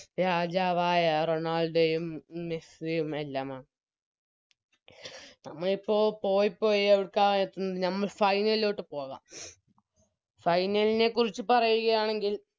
രാജാവായ റൊണാൾഡോയും മെസ്സിയും എല്ലാമാണ് നമ്മളിപ്പോ പോയിപ്പോയി എവിട്ക്ക എത്തുന്നത് ഞമ്മൾ Final ലോട്ട് പോവാം Final നെ ക്കുറിച്ച് പറയുകയാണെങ്കിൽ